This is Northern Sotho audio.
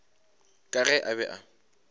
ka ge a be a